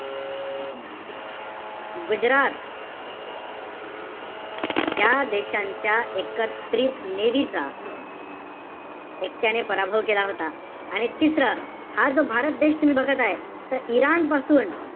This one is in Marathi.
गुजरात ज्या देशांच्या एकत्रित navy चा एकट्याने पराभव केला होता. आणि तिसरं, हा जो भारत देश तुम्ही बघत आहे, त इराण पानूस,